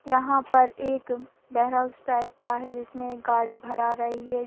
यहाँ पर एक बेर हाउस टाइप का है जिसमें एक गाड़ी भरा रही है।